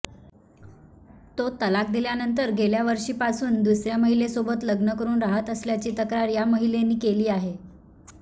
तो तलाक दिल्यानंतर गेल्यावर्षीपासून दुसऱ्या महिलेसोबत लग्न करून राहत असल्याची तक्रार या महिलेने केली आहे